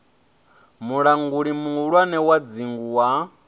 mulanguli muhulwane wa dzingu wa